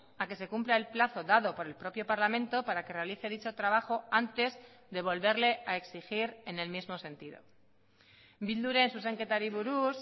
a que se cumpla el plazo dado por el propio parlamento para que realice dicho trabajo antes de volverle a exigir en el mismo sentido bilduren zuzenketari buruz